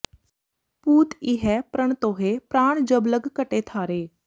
ਪੂਤ ਇਹੈ ਪ੍ਰਣ ਤੋਹਿ ਪਰਾਣ ਜਬ ਲਗ ਘਟਿ ਥਾਰੇ